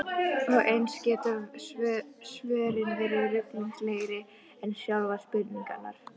Og eins geta svörin verið ruglingslegri en sjálfar spurningarnar.